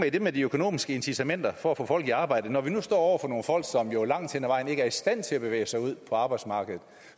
i det med de økonomiske incitamenter for at få folk i arbejde når vi nu står over for nogle folk som jo langt hen ad vejen ikke er i stand til at bevæge sig ud på arbejdsmarkedet